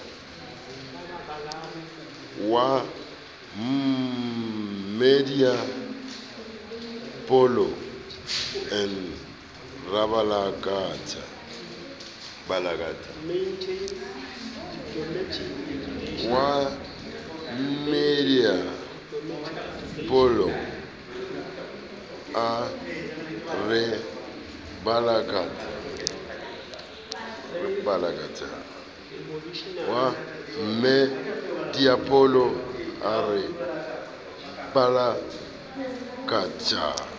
wa mmmadiepollo a re balakatha